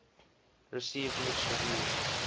received mixed reviews